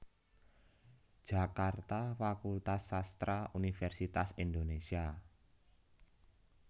Jakarta Fakultas Sastra Universitas Indonesia